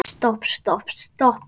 Stopp, stopp, stopp.